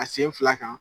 A sen fila kan